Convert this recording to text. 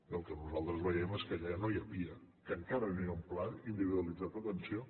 i el que nosaltres veiem és que allà ja no hi ha pia que encara no hi ha un pla individualitzat d’atenció